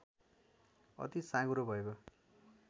अति साँघुरो भएको